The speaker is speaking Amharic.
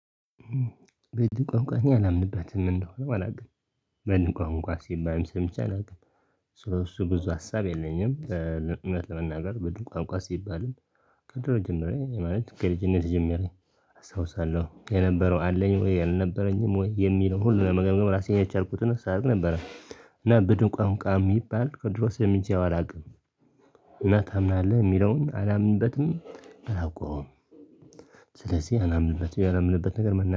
በድን ቋንቋኛ አላምንበትም ምን እንደሆነም አላውቅም። በድን ቋንቋ ሲባልም ሰምቼ አላውቅም። ስለሱው ብዙ ሀሳብ የለኝም እውነት ለመናገር በዱር ቋንቋ ሲባልም። ከድሮ ጀምሬ ማለት ከልጅነት ጀምሬ አስታውሳለሁ የነበረው አለኝ ወይ አልነበረኝም ወይ የሚለው ሁሉ ለመገምገም ራሴን ያቻልኩትን ስራ ነበረ። እና ብድን ቋንቋ የሚባል ከድሮ ሰምቸው አላውቅም። እና ታምናለህ የሚለውን አላምንበትም። አላውቀውም። ስለዚህ አላምንበትም ያላምንበት ነገር መናገር